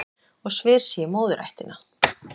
Og sver sig í móðurættina